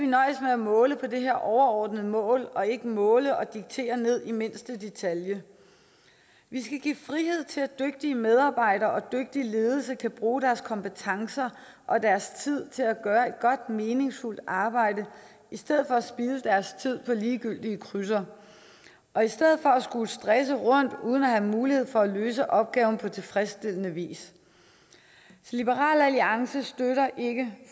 at måle på det her overordnede mål og ikke måle og diktere ned i mindste detalje vi skal give frihed til at dygtige medarbejdere og dygtig ledelse kan bruge deres kompetencer og deres tid til at gøre et godt og meningsfuldt arbejde i stedet for at spilde deres tid på ligegyldige krydser og i stedet for at skulle stresse rundt uden at have mulighed for at løse opgaven på tilfredsstillende vis liberal alliance støtter ikke